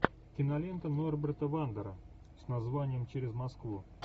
кинолента норберта вандера с названием через москву